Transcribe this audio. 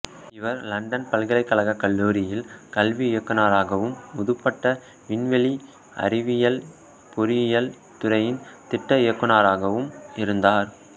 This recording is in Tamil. இவர் இலண்டன் பல்கலைக்கழகக் கல்லூரியில் கல்வி இயக்குநராகவும் முதுபட்ட விண்வெளி அறிவியல் பொறியியல் துறையின் திட்ட இயக்குநராகவும் இருந்தார்